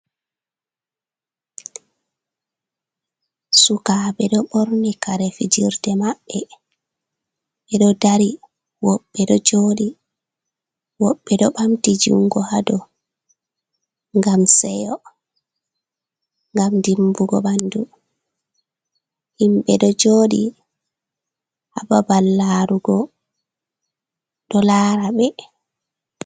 Sukaɓe ɗo ɓorni kare fijirde maɓɓe ɓeɗo dari, woɓɓe ɗo joɗi ɓamti jungo haa dow ngam seyo, ngam dimbugo ɓandu. Himɓe ɗo joɗi haa babal larugo ɗo lara ɓe.